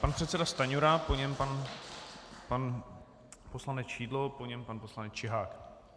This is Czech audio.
Pan předseda Stanjura, po něm pan poslanec Šidlo, po něm pan poslanec Čihák.